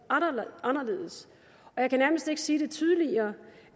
anderledes jeg kan nærmest ikke sige det tydeligere